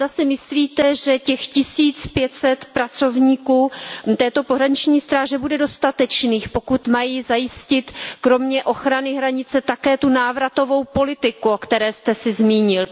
Myslíte si, že těch tisíc pět set pracovníků pohraniční stráže bude dostatečných, pokud mají zajistit kromě ochrany hranice také návratovou politiku, o které jste se zmínil?